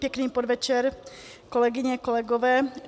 Pěkný podvečer, kolegyně, kolegové.